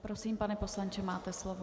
Prosím, pane poslanče, máte slovo.